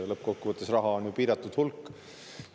Lõppkokkuvõttes on raha ju piiratud hulk.